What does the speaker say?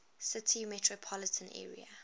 city metropolitan area